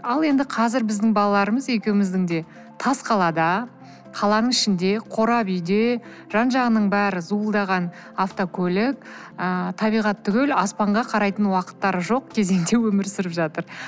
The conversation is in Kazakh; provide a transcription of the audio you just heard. ал енді қазір біздің балаларымыз екеуміздің де тас қалада қаланың ішінде қорап уйде жан жағының бәрі зуылдаған автокөлік ы табиғат түгілі аспанға қарайтын уақыттары жоқ кезеңде өмір сүріп жатыр